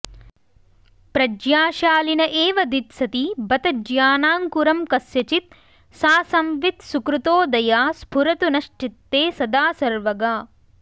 प्रज्ञाशालिन एव दित्सति बत ज्ञानाङ्कुरं कस्यचित् सा संवित् सुकृतोदया स्फुरतु नश्चित्ते सदा सर्वगा